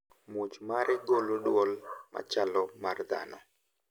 Muoch mare golo dwol machalo mar dhano.